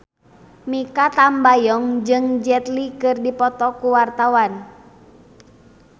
Mikha Tambayong jeung Jet Li keur dipoto ku wartawan